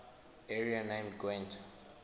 area named gwent